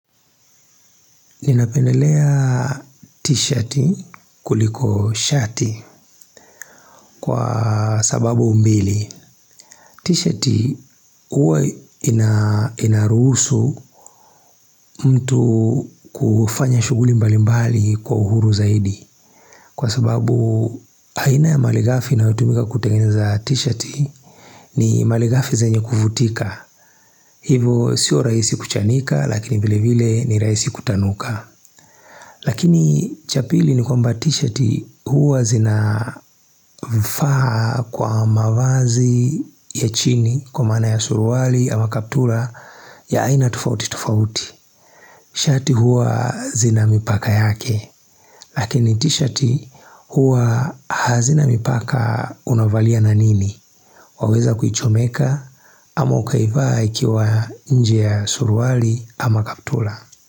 Ninapendelea t-shirti kuliko shati kwa sababu mbili. T-shirti huwa inaruhusu mtu kufanya shuguli mbali mbali kwa uhuru zaidi. Kwa sababu aina ya maligafi inayotumika kutengeneza t-shirti ni maligafi zanye kuvutika. Hivo sio raisi kuchanika lakini vile vile ni rahisi kutanuka. Lakini cha pili ni kwamba t-shirti huwa zina vifaa kwa mavazi ya chini kwa maana ya suruali ama kaptula ya aina tofauti tofauti. Shati huwa zina mipaka yake, lakini t-shirti huwa hazina mipaka unavalia na nini? Waweza kuichomeka ama ukaivaa ikiwa nje ya suruali ama kaptula.